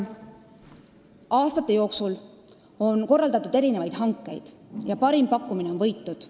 Aastate jooksul on korraldatud erinevaid hankeid ja parim pakkumine on võitnud.